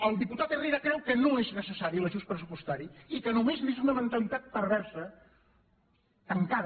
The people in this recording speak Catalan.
el diputat herrera creu que no és necessari l’ajust pressupostari i que només és una mentalitat perversa tancada